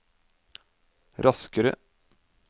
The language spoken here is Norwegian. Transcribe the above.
raskere